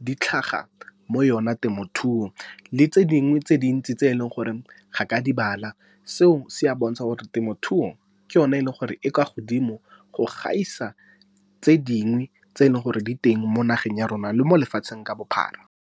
di tlhaga mo yone temothuo. Le tse dingwe tse dintsi tse e leng gore ga ka di bala, seo se a bontsha gore temothuo ke yone e leng gore e kwa godimo go gaisa tse dingwe tse e leng gore di teng mo nageng ya rona le mo lefatsheng ka bophara.